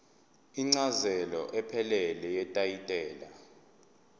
incazelo ephelele yetayitela